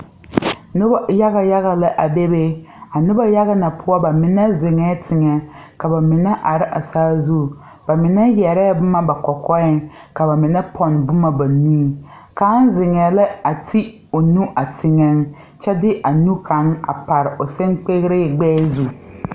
Nobɔ yaga yaga lɛ a bebe a nobɔ yaga na poɔ ba mine zeŋɛɛ teŋɛ ka ba mine are a saazu ba mine yɛrɛɛ boma ba kɔkɔɛŋ ka ba mine pɔn boma ba nuŋ kaŋ zeŋɛɛ lɛ a ti o nu a teŋɛ kyɛ de a nu kaŋ a pare o siŋkpigre gbɛɛ zu.